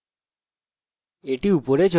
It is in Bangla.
এটি এখন উপরে চলে এসেছে